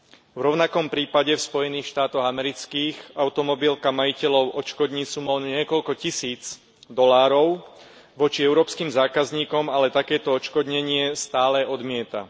V rovnakom prípade v Spojených štátoch amerických automobilka majiteľov odškodní sumou niekoľko tisíc dolárov, voči európskym zákazníkom ale takéto odškodnenie stále odmieta.